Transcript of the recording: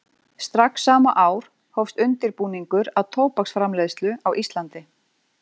Strax sama ár hófst undirbúningur að tóbaksframleiðslu á Íslandi.